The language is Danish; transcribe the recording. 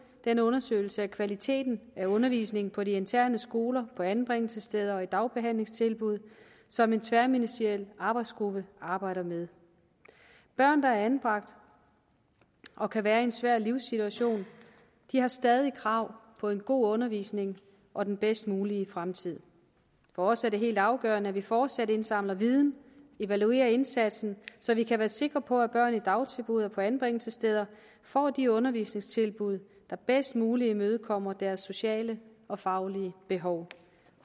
den undersøgelse af kvaliteten af undervisningen på de interne skoler på anbringelsessteder og i dagbehandlingstilbud som en tværministeriel arbejdsgruppe arbejder med børn der er anbragt og kan være i en svær livssituation har stadig krav på en god undervisning og den bedst mulige fremtid for os er det helt afgørende at vi fortsat indsamler viden evaluerer indsatsen så vi kan være sikre på at børn i dagtilbud og på anbringelsessteder får de undervisningstilbud der bedst muligt imødekommer deres sociale og faglige behov